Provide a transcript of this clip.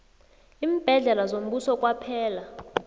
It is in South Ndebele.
iimbhedlela zombuso kwaphela